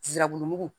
Zirabulumugu